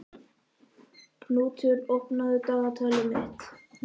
Knútur, opnaðu dagatalið mitt.